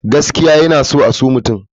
Gaskiya yana sa a so mutum.